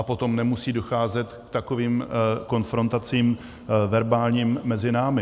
A potom nemusí docházet k takovým konfrontacím verbálním mezi námi.